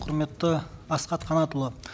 құрметті асхат қанатұлы